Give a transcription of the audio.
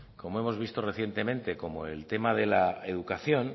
como hemos visto recientemente como el tema de la educación